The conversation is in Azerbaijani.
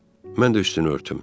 Mən də üstünü örtüm.